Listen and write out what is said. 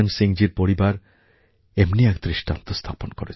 জীর পরিবার এমনি এক দৃষ্টান্ত স্থাপন করেছেন